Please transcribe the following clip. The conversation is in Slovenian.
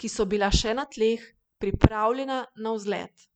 ki so bila še na tleh, pripravljena na vzlet.